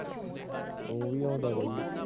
ਊਂ ਵੀ ਆਉਂਦਾ ਬਾਈ।